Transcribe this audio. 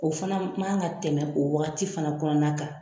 O fana man kan ka tɛmɛ o wagati fana kɔnɔna kan.